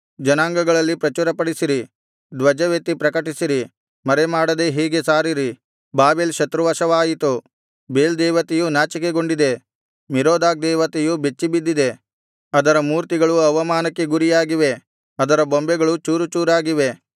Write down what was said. ಜನಾಂಗಗಳಲ್ಲಿ ಪ್ರಚುರಪಡಿಸಿರಿ ಧ್ವಜವೆತ್ತಿ ಪ್ರಕಟಿಸಿರಿ ಮರೆಮಾಡದೆ ಹೀಗೆ ಸಾರಿರಿ ಬಾಬೆಲ್ ಶತ್ರುವಶವಾಯಿತು ಬೇಲ್ ದೇವತೆಯು ನಾಚಿಕೆಗೊಂಡಿದೆ ಮೆರೋದಾಕ್ ದೇವತೆಯು ಬೆಚ್ಚಿಬಿದ್ದಿದೆ ಅದರ ಮೂರ್ತಿಗಳು ಅವಮಾನಕ್ಕೆ ಗುರಿಯಾಗಿವೆ ಅದರ ಬೊಂಬೆಗಳು ಚೂರುಚೂರಾಗಿವೆ